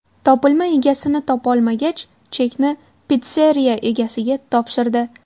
Topilma egasini topolmagach, chekni pitsseriya egasiga topshirdi.